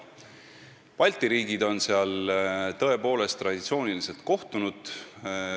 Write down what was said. Balti riigid on seal tõepoolest traditsiooniliselt kohtunud.